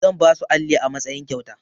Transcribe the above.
Zan ba su alli a matsayin kyauta.